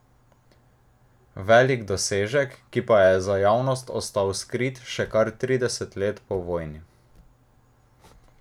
Velik dosežek, ki pa je za javnost ostal skrit še kar trideset let po vojni.